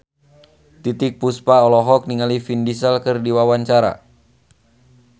Titiek Puspa olohok ningali Vin Diesel keur diwawancara